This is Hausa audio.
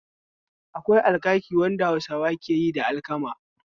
Akwai alkaki wanda Hausawa keyi da alkama